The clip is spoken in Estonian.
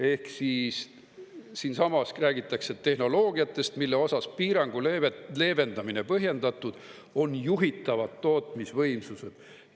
Ehk siis siinsamas räägitakse tehnoloogiatest, mille osas piirangu leevendamine põhjendatud, on juhitavad tootmisvõimsused.